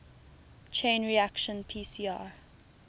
chain reaction pcr